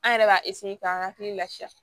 An yɛrɛ b'a k'an hakili lafiya